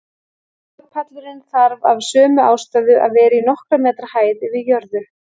Borpallurinn þarf af sömu ástæðu að vera í nokkurra metra hæð yfir jörðu.